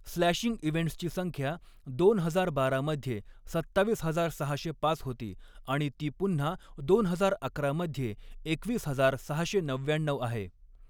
Slashing इव्हेंट्सची संख्या दोन हजार बारा मध्ये सत्तावीस हजार सहाशे पाच होती आणि ती पुन्हा दोन हजार अकरा मध्ये एकवीस हजार सहाशे नव्याण्णऊ आहे.